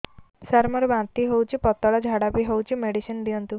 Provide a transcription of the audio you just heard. ସାର ମୋର ବାନ୍ତି ହଉଚି ପତଲା ଝାଡା ବି ହଉଚି ମେଡିସିନ ଦିଅନ୍ତୁ